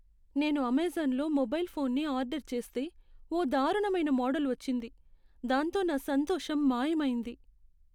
నేను అమెజాన్లో మొబైల్ ఫోన్ని ఆర్డర్ చేస్తే, ఓ దారుణమైన మోడల్ వచ్చింది, దాంతో నా సంతోషం మాయమైంది.